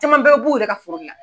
Cɛman bɛɛ bi b'u yɛrɛ ka foro le la.